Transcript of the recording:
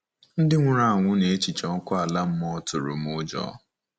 Ndị nwụrụ anwụ na echiche ọkụ ala mmụọ tụrụ m ụjọ.